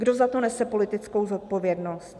Kdo za to nese politickou zodpovědnost?